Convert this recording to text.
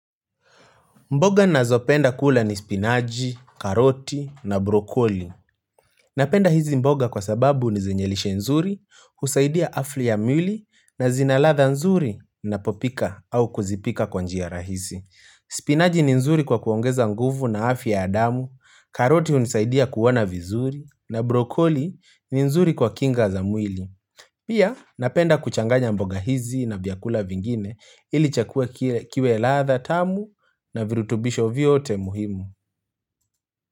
Mboga nazopenda kula ni spinaji, karoti na brokoli. Napenda hizi mboga kwa sababu ni zenye lishe nzuri, husaidia afri ya mwili na zina ladha nzuri ninapopika au kuzipika kwa njia rahisi. Spinaji ni nzuri kwa kuongeza nguvu na afya ya damu, karoti unisaidia kuona vizuri na brokoli ni nzuri kwa kinga za mwili. Pia napenda kuchanganya mboga hizi na vyakula vingine ili chakula kiwe ladha tamu na virutubisho vyote muhimu.